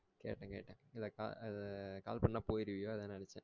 கேட்டேன் கேட்டே இல்ல அஹ் call பண்ணா போயிருவியா அதோ நெனச்சா